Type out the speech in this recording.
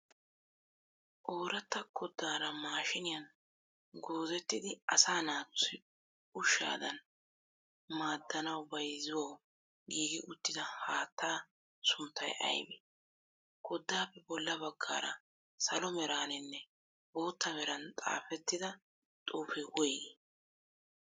Ooratta koddaara maashiiniyan goozettidi asaa naatussi ushshadan maaddanawu bayizuwawu giigi uttida haattaa sunttayi ayibee? Koddaappe bolla baggaara salo meraaninne bootta meran xaafettixa xuufee woyigii?